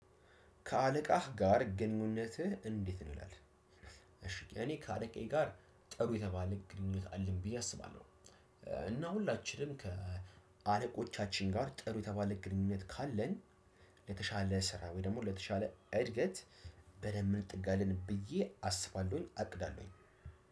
ከአለቃህ ጋር ግንኙነትህ እንዴት ነው ይላል? እሺ እኔ ከአለቃዬ ጋር ጥሩ የተባለ ግንኙነት አለኝ ብዬ አስባለሁ። እና ሁላችንም ከአለቆቻችን ጋር ጥሩ የተባለ ግንኙነት ካለን ለተሻለ ስራ ወይ ደግሞ ለተሻለ እድገት። በደንብ እንጠጋለን ብዬ አስባለሁኝ አቅዳለሁኝ።